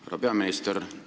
Härra peaminister!